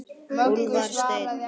Úlfar Steinn.